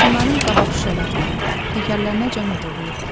Maşınların qabaq şüşələrinə, təkərlərinəcən oğurlayırdılar.